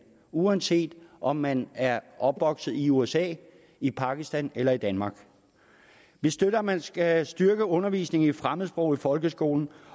uanset om man er opvokset i usa i pakistan eller i danmark vi støtter at man skal styrke undervisningen i fremmedsprog i folkeskolen